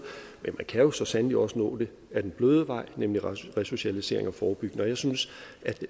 kan jo så sandelig også nå det ad den bløde vej nemlig resocialisering og forebyggelse jeg synes